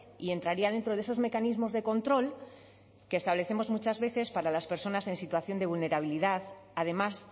y entraría dentro de esos mecanismos de control que establecemos muchas veces para las personas en situación de vulnerabilidad además